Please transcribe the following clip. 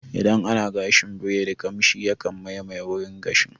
Idan ana gashin biredi kamshi yakan mamayi wurin gashin